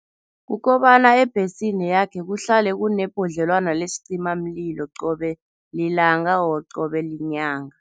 Kukobana ebhesini yakhe kuhlale kunebhodlelwana lesicimamlilo qobe lilanga or qobe yinyanga.